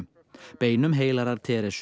beinum heilagrar